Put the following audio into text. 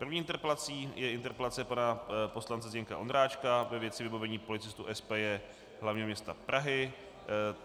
První interpelací je interpelace pana poslance Zdeňka Ondráčka ve věci vybavení policistů SPJ hlavního města Prahy.